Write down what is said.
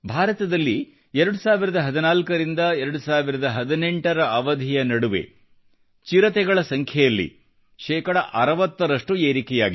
ಭಾರತದಲ್ಲಿ 2014 ರಿಂದ 2018 ರ ಅವಧಿಯ ನಡುವೆ ಚಿರತೆಗಳ ಸಂಖ್ಯೆಯಲ್ಲಿ ಶೇಕಡಾ 60 ರಷ್ಟು ಏರಿಕೆಯಾಗಿದೆ